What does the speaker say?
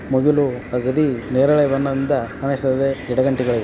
ಮುಗಿಲು ಅಗಡಿ ನೇರಳೆ ಬಣ್ಣದಿಂದ ಕಾಣಿಸುತ್ತದೆ ಗಿಡ ಗಂಟಿಗಳು --